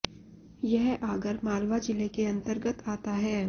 यह आगर मालवा जिले के अन्तर्गत आता है